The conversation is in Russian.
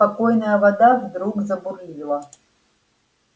спокойная вода вдруг забурлила